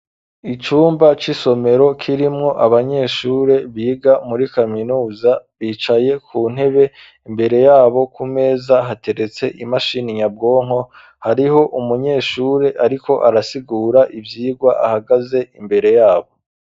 Icumba c'isomero kirimwo abanyeshure biga muri kaminuza, bicaye ku ntebe, imbere yabo ku meza hateretse imashini nyabwonko, hariho umunyeshuri ariko arasigura ivyigwa ahagaze imbere yabo.